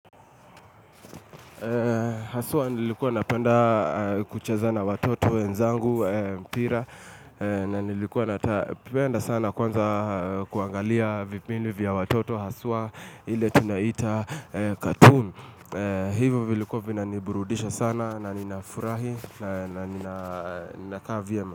Haswa nilikuwa napenda kuchaza na watoto wenzangu mpira, na nilikuwa napenda sana kwanza kuangalia vipindi vya watoto haswa ile tunaita cartoon Hivo vilikuwa vina ni burudisha sana na ni nafurahi na nina kaa vyema.